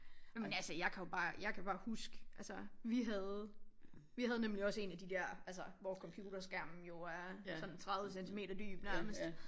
Jamen altså jeg kan jo bare jeg kan bare huske altså vi havde vi havde nemlig også en af de dér altså hvor computerskærmen jo er sådan 30 centimeter dyb nærmest